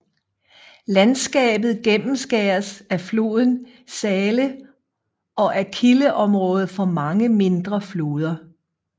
Landskabet gennemskæres af floden Saale og er kildeområde for mange mindre floder